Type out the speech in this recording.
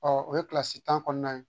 o ye tan kɔnɔna ye